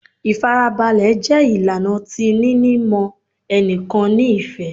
Ifarabalẹ jẹ ilana ti nini mọ ẹnikan ni ifẹ